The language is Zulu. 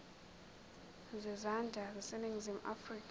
zezandla zaseningizimu afrika